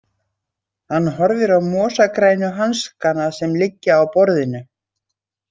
Hann horfir á mosagrænu hanskana sem liggja á borðinu.